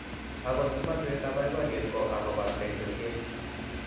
Akot komoswek ab boiboyet ko akoba teksosiet